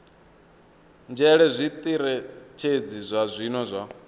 nzhele zwitirathedzhi zwa zwino zwa